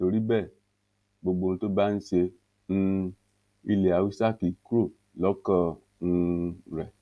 torí bẹ́ẹ̀ gbogbo ohun tó bá ń ṣe um ilẹ hausa kì í kúrò lọ́kàn um rẹ̀